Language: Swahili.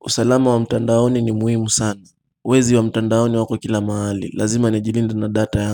usalama wa mtandaoni ni muhimu sana Wezi wa mtandaoni wako kila mahali Lazima nijilinde na data yangu.